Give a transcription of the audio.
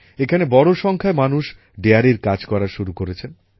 এখানে বড় সংখ্যায় মানুষ ডেয়ারীর কাজ করা শুরু করেছেন